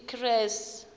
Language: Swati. ekresi